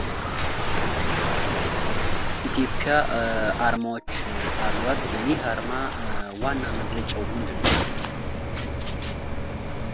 ኢትዮጵያ አርማዎች አሏት። ይህ አርማ ዋና መግለጫው ምንድን ነው?